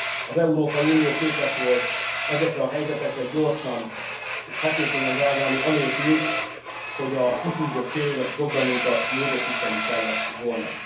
Az Európai Unió képes volt ezekre a helyzetekre gyorsan és hatékonyan reagálni anélkül, hogy a kitűzött féléves programunkat módosítani kellett volna.